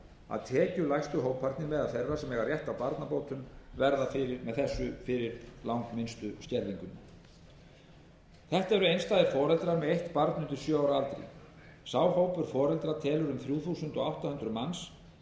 að tekjulægstu hóparnir meðal þeirra sem eiga rétt á barnabótum verða með þessu fyrir langminnstu skerðingunni þetta eru einstæðir foreldrar með eitt barn undir sjö ára aldri sá hópur foreldra telur um þrjú þúsund átta hundruð manns